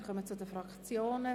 Wir kommen zu den Fraktionen.